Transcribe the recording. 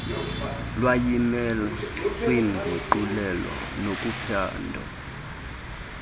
lwezimali kwiinguqulelo nakuphando